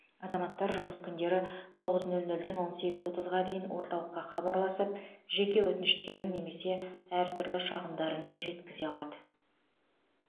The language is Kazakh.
азаматтар жұмыс күндері тоғыз нөл нөлден он сегіз отызға дейін орталыққа хабарласып жеке өтініштерін немесе әртүрлі шағымдарын жеткізе алады